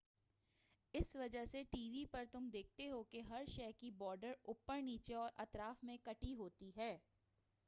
اسی وجہ سے ٹی وی پر تم دیکھتے ہو کہ ہر شے کی بارڈر اوپر نیچے اور اطراف میں کٹی ہوتی ہے